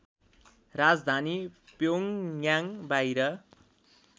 राजधानी प्योङयाङ बाहिर